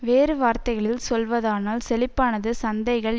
வேறு வார்த்தைகளில் சொல்வதானால் செழிப்பானது சந்தைகள்